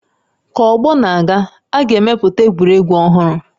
Ka ọgbọ na-aga, a ga-emepụta egwuregwu ọhụrụ